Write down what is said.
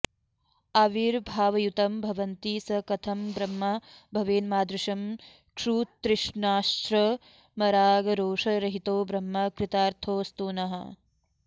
आविर्भावयुतं भवन्ति स कथं ब्रह्मा भवेन्मादृशं क्षुत्तृष्णाश्रमरागरोषरहितो ब्रह्मा कृतार्थोऽस्तु नः